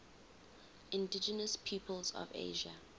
indigenous peoples of asia